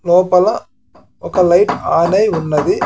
లోపల ఒక light on అయి ఉన్నది.